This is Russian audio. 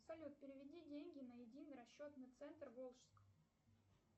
салют переведи деньги на единый расчетный центр волжск